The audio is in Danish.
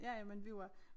Ja ja men vi var